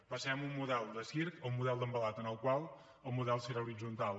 passem d’un model de circ a un model d’envelat en el qual el model serà horitzontal